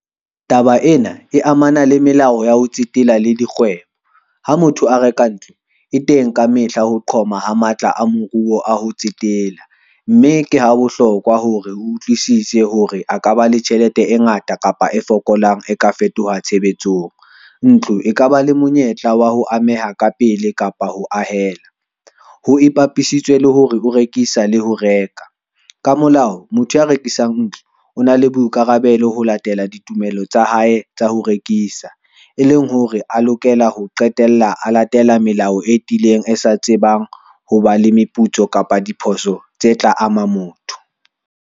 Taba ena e amana le melao ya ho tsetela le dikgwebo. Ha motho a reka ntlo e teng ka mehla ho qhoma ha matla a moruo a ho tsetela, mme ke ha bohlokwa hore o utlwisise hore a ka ba le tjhelete e ngata kapa e fokolang, e ka fetoha tshebetsong. Ntlo e kaba le monyetla wa ho ameha ka pele kapa ho ahela, ho ipapisitswe le hore ho rekisa le ho reka. Ka molao motho ya rekisang ntlo o na le boikarabelo ho latela ditumelo tsa hae tsa ho rekisa, e leng hore a lokela ho qetella a latela melao e tiileng, e sa tsebang ho ba le meputso kapa diphoso tse tla ama motho.